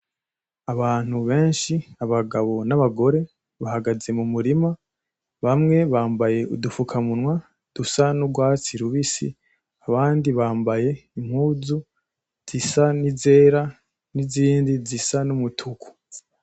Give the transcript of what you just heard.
Abantu benshi abagabo n’abagore bahagaze mu murima , bamwe bambaye udufukamunwa dusa n’urwatsi rubisi abandi bambaye impuzu zisa n’izera n’izindi zisa n’umutuku.